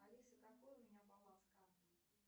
алиса какой у меня баланс карты